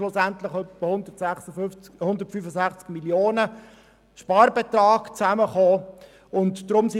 Schlussendlich kam ein Sparbetrag von ungefähr 165 Mio. Franken zusammen.